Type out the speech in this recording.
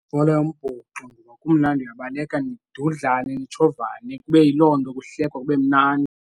Yibhola yombhoxo ngoba kumnandi, uyabaleka nidudlane nitshovane kube yiloo nto kuhlekwa kube mnandi.